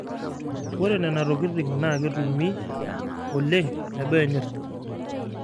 oreb nena tokitin naa ketumi oleng teboo enyirt.